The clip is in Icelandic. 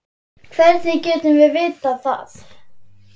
Hvernig getum við vitað það?